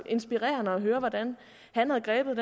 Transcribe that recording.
inspirerende at høre hvordan han havde grebet